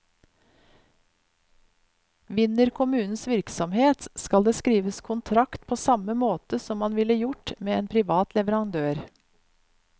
Vinner kommunens virksomhet, skal det skrives kontrakt på samme måte som man ville gjort med en privat leverandør.